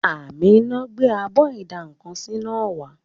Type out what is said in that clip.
Àmíná gbé abọ́ ìdá-nǹkan-sí náà wá